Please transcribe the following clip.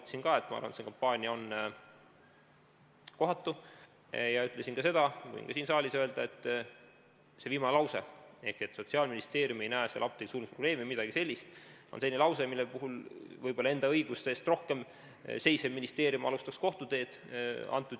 Ma ütlesin, et minu arvates see kampaania on kohatu, ja ütlesin seda, mida ma võin ka siin saalis öelda, et see viimane lause, ehk et Sotsiaalministeerium ei näe apteekide sulgemises probleemi või midagi sellist, on selline lause, mille tõttu võib-olla enda õiguste eest rohkem seisev ministeerium alustaks kohtuteed.